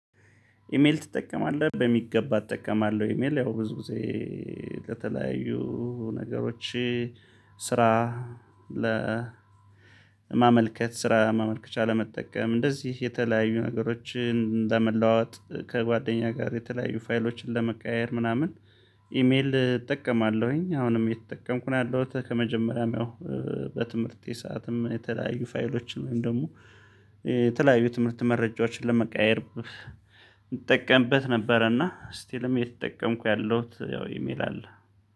ኢሜል ትጠቀማለህ በሚገባ እጠቀማለሁ። ኢሜል ያው ብዙ ጊዜ ከተለያዩ ነገሮች ስራ ለማመልከት ስራ ማመልከቻ ለመጠቀም እንደዚህ የተለያዩ ነገሮችን ለመለዋወጥ ከጓደኛ ጋር የተለያዩ ፋይሎችን ለመቀያየር ምናምን። ኢሜል እጠቀማለሁኝ አሁንም የተጠቀምኩ ነው ያለሁት ከመጀመሪያም ያው በትምህርቴ ሰዓትም የተለያዩ ፋይሎችን ወይም ደግሞ የተለያዩ የትምህርት መረጃዎችን ለመቀያየር እንጠቀምበት ነበር። እና ስቲልም የተጠቀምኩ ያለሁት ያው ኢሜል አለ።